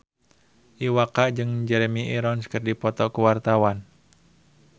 Iwa K jeung Jeremy Irons keur dipoto ku wartawan